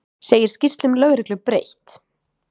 Segir skýrslum lögreglu breytt